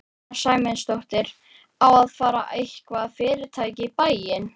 Sunna Sæmundsdóttir: Að fá eitthvað fyrirtæki í bæinn?